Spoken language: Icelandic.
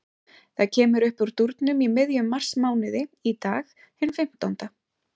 Það kemur uppúr dúrnum í miðjum marsmánuði, í dag, hinn fimmtánda.